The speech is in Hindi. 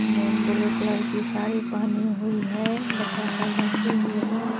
मैम ब्लू कलर की साड़ी पहनी हुई है बच्चा सब बैठे हुए हैं।